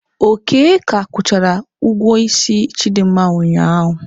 Oke ka akwụchara ugwuo isi Chidinma ụnyaahụ.